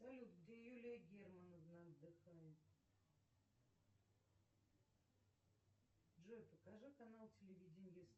салют где юлия германовна отдыхает джой покажи канал телевидения